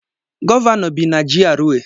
Gọvanọ bi na GRA